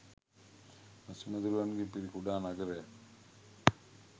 මැසි මදුරුවන්ගෙන් පිරි කුඩා නගරයක්